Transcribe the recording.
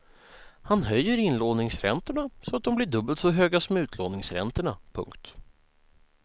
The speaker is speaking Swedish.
Han höjer inlåningsräntorna så att de bli dubbelt så höga som utlåningsräntorna. punkt